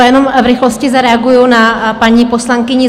Jenom v rychlosti zareaguji na paní poslankyni